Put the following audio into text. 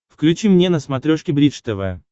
включи мне на смотрешке бридж тв